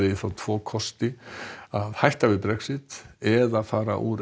tvo kosti hætta við Brexit eða fara úr